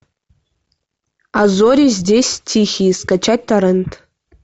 а зори здесь тихие скачать торрент